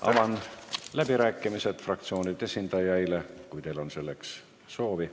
Avan läbirääkimised fraktsioonide esindajaile, kui teil on selleks soovi.